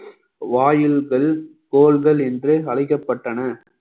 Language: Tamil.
வாயில்கள் கோள்கள் என்று அழைக்கப்பட்டன